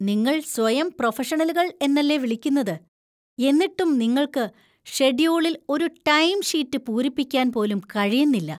നിങ്ങൾ സ്വയം പ്രൊഫഷണലുകൾ എന്നല്ലേ വിളിക്കുന്നത് , എന്നിട്ടും നിങ്ങൾക്ക് ഷെഡ്യൂളിൽ ഒരു ടൈംഷീറ്റ് പൂരിപ്പിക്കാൻ പോലും കഴിയുന്നില്ല .